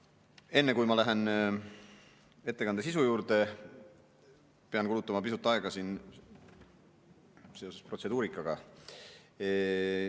Enne kui ma lähen ettekande sisu juurde, pean kulutama pisut aega protseduurikale.